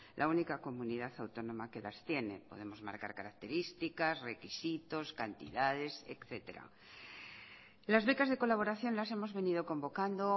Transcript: la única comunidad autónoma que las tiene podemos marcar características requisitos cantidades etcétera las becas de colaboración las hemos venido convocando